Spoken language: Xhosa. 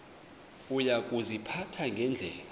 uya kuziphatha ngendlela